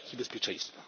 siatki bezpieczeństwa.